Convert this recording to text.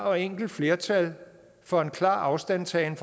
og enkelt flertal for en klar afstandtagen